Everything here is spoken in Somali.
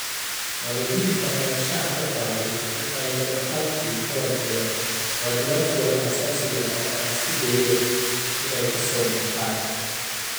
Waalidiinta ayaa shaaca ka qaaday in ay dhab ahaantii ka warqabeen waajibaadkooda aasaasiga ah oo ay isku dayeen inay ka soo baxaan.